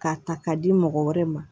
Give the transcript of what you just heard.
K'a ta k'a di mɔgɔ wɛrɛ ma